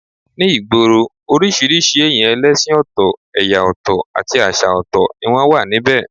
Ní ìgboro, oríṣiríṣi èyàn ẹlẹ́sìn ọ̀tọ̀, ẹ̀yà ọ̀tọ̀ àti àṣà ọ̀tọ̀ ni wọ́n wà níbẹ̀